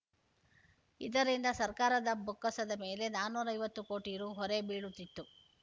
ಇದರಿಂದ ಸರ್ಕಾರದ ಬೊಕ್ಕಸದ ಮೇಲೆ ನಾಲ್ಕುನೂರ ಐವತ್ತು ಕೋಟಿ ರು ಹೊರೆ ಬೀಳುತ್ತಿತ್ತು